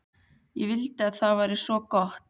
Ég vildi að það væri svo gott.